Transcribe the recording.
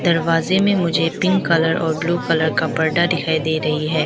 दरवाजे में मुझे पिंक कलर और ब्लू कलर का पर्दा दिखाई दे रही है।